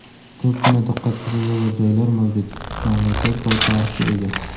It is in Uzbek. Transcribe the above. Ko‘pgina diqqatga sazovor joylar mavjud, mamlakat boy tarixga ega.